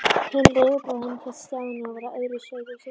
Hinn leikbróðirinn hét Stjáni og var af öðru sauðahúsi.